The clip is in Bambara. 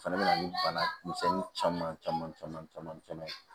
O fɛnɛ bɛ na ni bana misɛnnin caman caman caman caman caman ye